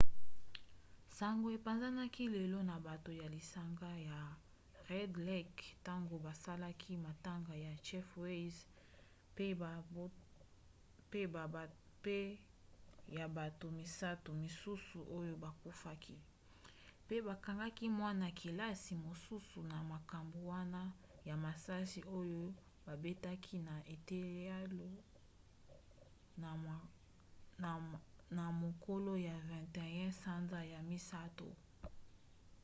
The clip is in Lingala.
sango epanzani lelo na bato ya lisanga ya red lake ntango bazalaki matanga ya jeff weise mpe ya bato misato mosusu oyo bakufaki mpe bakangaki mwana-kelasi mosusu na makambo wana ya masasi oyo babetaki na eteyelo na mokolo ya 21 sanza ya misato